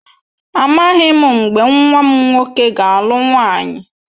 Amaghị m mgbe nwa m nwoke ga-alụ nwaanyị.